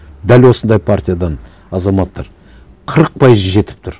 дәл осындай партиядан азаматтар қырық пайызы жетіп тұр